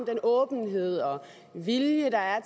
den åbenhed og vilje der er